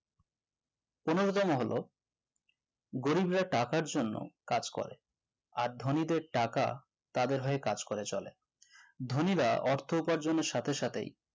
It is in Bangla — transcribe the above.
পনোরো তম হলো গরিবরা টাকার জন্য কাজ করে, আর ধনীদের টাকা তাদের হয়ে কাজ করে চলে ধনীরা অর্থ উপার্জনের সাথে সাথে